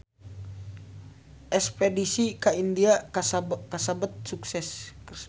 Espedisi ka India kasebat sukses